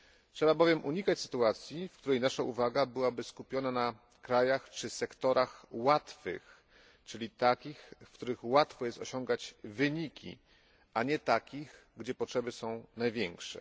Trzeba bowiem unikać sytuacji, w której nasza uwaga byłaby skupiona na krajach czy sektorach łatwych, czyli takich, w których łatwo jest osiągać wyniki, a nie takich gdzie potrzeby są największe.